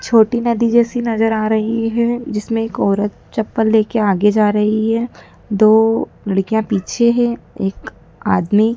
छोटी नदी जैसी नज़र आ रही है जिसमें एक औरत चप्पल लेके आगे जा रही है। दो लड़कियां पीछे है एक आदमी--